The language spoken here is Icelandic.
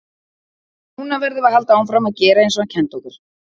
Núna verðum við að halda áfram að gera eins og hann kenndi okkur.